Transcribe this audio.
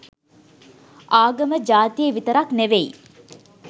ආගම ජාතිය විතරක් නෙවෙයි